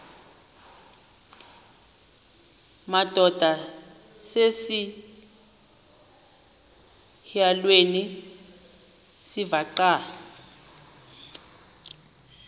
madod asesihialweni sivaqal